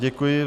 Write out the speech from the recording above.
Děkuji.